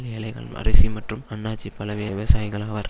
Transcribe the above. ஏழைகள் அரிசி மற்றும் அன்னாசிப்பழ விவசாயிகள் ஆவார்